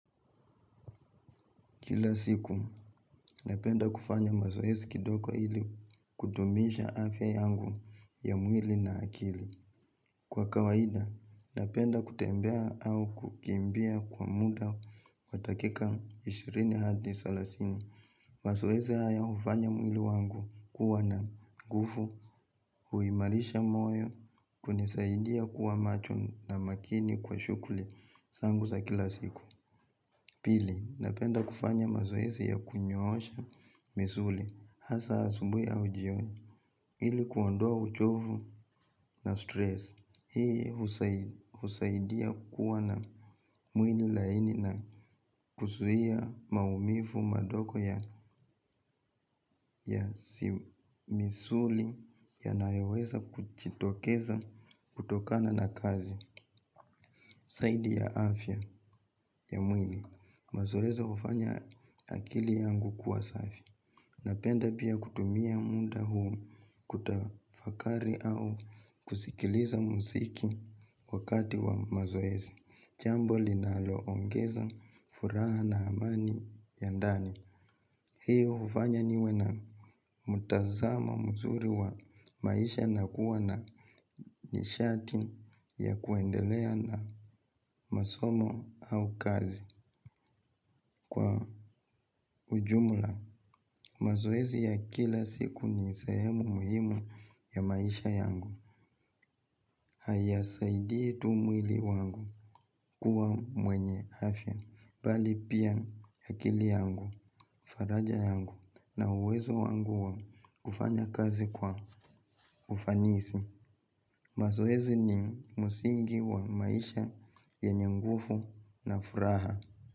Kila siku, napenda kufanya mazoezi kidogo ili kudumisha afya yangu ya mwili na akili. Kwa kawaida, napenda kutembea au kukimbia kwa muda wa dakika ishirini hadi salasini. Mazoezi haya hufanya mwili wangu kuwa na guvu, huimarisha moyo, kunisaidia kuwa macho na makini kwa shuguli zangu za kila siku. Pili, napenda kufanya mazoezi ya kunyoosha misuli, hasa asumbu au jioni, ili kuondoa uchovu na stress, hii husaidia kuwa na mwili laini na kuzuia maumivu madoko ya misuli yanayoweza kujitokeza kutokana na kazi. Zaidi ya afya ya mwili, mazoezi hufanya akili yangu kuwa safi. Napenda piya kutumiya muda huu kutafakari au kusikiliza muziki wakati wa mazoezi jambo linaloongeza furaha na amani ya ndani. Hiyo hufanya niwe na mtazamo mzuri wa maisha na kuona ni sharti ya kuendelea na masomo au kazi kwa ujumla mazoezi ya kila siku ni sehemu muhimu ya maisha yangu. Hayasaidi tu mwili wangu kuwa mwenye afya, bali piya akili yangu, faraja yangu na uwezo wangu wa kufanya kazi kwa ufanisi. Mazoezi ni msingi wa maisha yenye nguvu na furaha.